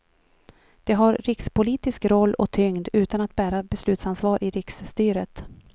De har rikspolitisk roll och tyngd utan att bära beslutsansvar i riksstyret.